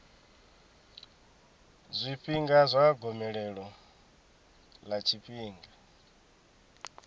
zwifhinga zwa gomelelo ḽa tshifhinga